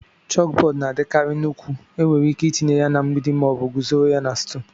Chókbódú na-adikarị nnukwu, enwere ike itinye ya na mgbidi ma ọ bụ guzoro na stúl